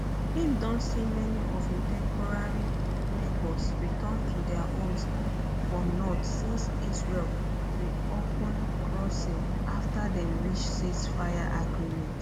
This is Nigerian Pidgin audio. im don see many of im temporary neighbours return to dia homes for north since israel reopen crossings afta um dem reach ceasefire um agreement